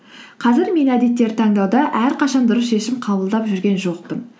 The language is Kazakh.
қазір мен әдеттер таңдауда әрқашан дұрыс шешім қабылдап жүрген жоқпын